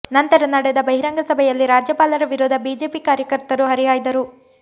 ನಂತರ ನಡೆದ ಬಹಿರಂಗ ಸಭೆಯಲ್ಲಿ ರಾಜ್ಯಪಾಲರ ವಿರುದ್ಧ ಬಿಜೆಪಿ ಕಾರ್ಯಕರ್ತರು ಹರಿಹಾಯ್ದರು